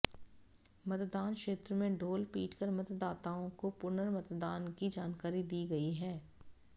मतदान क्षेत्र में ढोल पीट कर मतदाताओं को पुनर्मतदान की जानकारी दी गई है